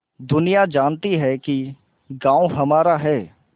दुनिया जानती है कि गॉँव हमारा है